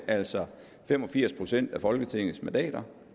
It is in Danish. altså fem og firs procent af folketingets mandater